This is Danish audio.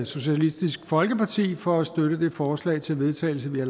socialistisk folkeparti for at støtte det forslag til vedtagelse vi har